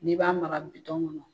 Ni b'a mara kɔnɔ